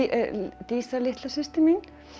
dísa litla systir mín